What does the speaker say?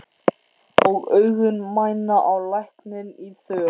Og augun mæna á lækninn í þökk.